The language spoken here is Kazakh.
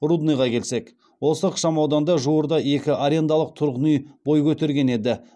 рудныйға келсек осы ықшамауданда жуырда екі арендалық тұрғын үй бой көтерген еді